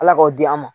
Ala k'aw di an ma